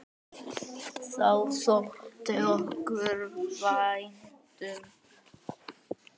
Það þótti okkur vænt um.